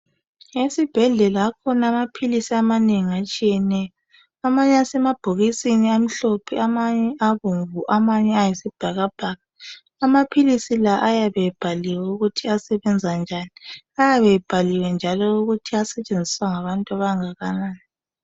Esibhedlela akhona amaphilisi amanengi atshiyeneyo. Amanye asemabhokisini amhlophe amanye abomvu amanye ayisibhakabhaka. Amaphilisi la ayabe ebhaliwe ukuthi asebenza njani. Ayabe ebhaliwe njalo ukuthi asetshenziswa ngabantu abangakanani.